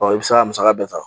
i be se k'a musaka bɛɛ ta.